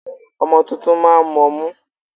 Ọmọ tuntun máa ń mọmú.